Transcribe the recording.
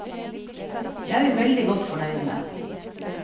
Det er vi veldig godt fornøyd med.